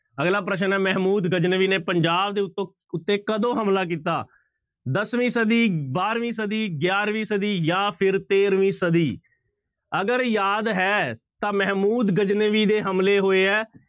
ਅਗਲਾ ਪ੍ਰਸ਼ਨ ਹੈ ਮਹਿਮੂਦ ਗਜਨਵੀ ਨੇ ਪੰਜਾਬ ਦੇ ਉੱਤੋਂ ਉੱਤੇ ਕਦੋਂ ਹਮਲਾ ਕੀਤਾ? ਦਸਵੀਂ ਸਦੀ, ਬਾਰਵੀਂ ਸਦੀ, ਗਿਆਰਵੀਂ ਸਦੀ ਜਾਂ ਫਿਰ ਤੇਰਵੀਂ ਸਦੀ, ਅਗਰ ਯਾਦ ਹੈ ਤਾਂ ਮਹਿਮੂਦ ਗਜਨਵੀ ਦੇ ਹਮਲੇ ਹੋਏ ਹੈ